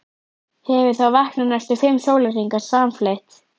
Hefur þá vakað næstum fimm sólarhringa samfleytt.